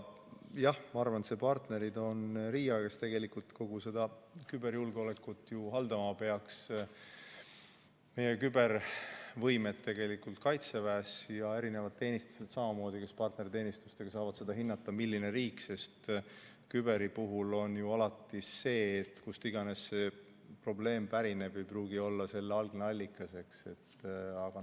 Jah, ma arvan, et partnerid on RIA, kes tegelikult kogu seda küberjulgeolekut ju haldama peaks, meie kübervõimekuse Kaitseväes ja samamoodi erinevad teenistused, kes partnerteenistustega saavad hinnata, milline riik, sest kübervaldkonna puhul on ju alati see, et kust iganes probleem pärineb, see ei pruugi olla selle algne allikas.